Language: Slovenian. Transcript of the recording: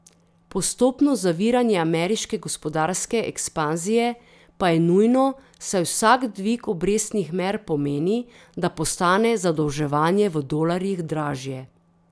Postopno zaviranje ameriške gospodarske ekspanzije pa je nujno, saj vsak dvig obrestnih mer pomeni, da postane zadolževanje v dolarjih dražje.